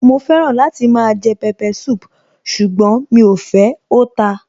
Mo fẹ́ràn láti máa jẹ pepper soup ṣùgbọ́n mí ò fẹ́, ó ta.